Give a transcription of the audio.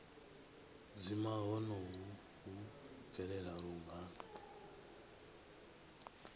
dzima honoho hu bvelela lungana